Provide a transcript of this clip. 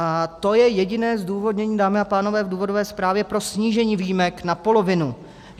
A to je jediné zdůvodnění, dámy a pánové, v důvodové zprávě pro snížení výjimek na polovinu.